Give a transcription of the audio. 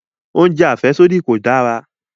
Oúnjẹ àfẹ́sódì kò dára